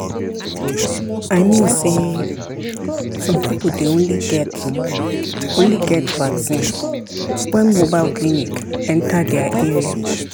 i mean say some people dey only get only get vaccine when mobile clinic enter their area.